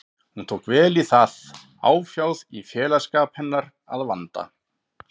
Hún tók vel í það, áfjáð í félagsskap hennar að vanda.